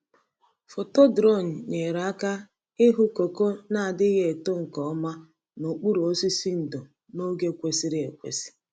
Foto drone nyere aka ịhụ koko na-adịghị eto nke ọma n’okpuru osisi ndo n’oge kwesịrị ekwesị.